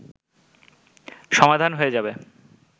সমাধান হয়ে যাবে